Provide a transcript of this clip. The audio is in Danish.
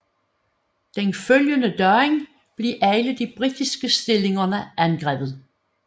Den følgende dag blev alle de britiske stillinger angrebet